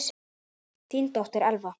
Þín dóttir, Elfa.